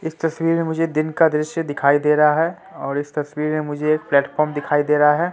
इस तस्वीर में मुझे दिन का दृश्य दिखाई दे रहा है और इस तस्वीर में मुझे एक प्लेटफार्म दिखाई दे रहा है।